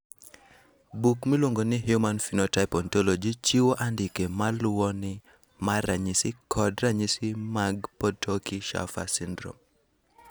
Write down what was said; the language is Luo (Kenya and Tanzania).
Buk miluongo ni Human Phenotype Ontology chiwo andike ma luwoni mar ranyisi kod ranyisi mag Potocki Shaffer syndrome.